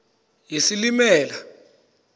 yesilimela